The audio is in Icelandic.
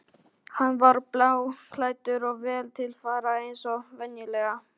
Hann var bláklæddur og vel til fara eins og venjulega.